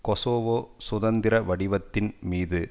Kosovo சுதந்திர வடிவத்தின் மீது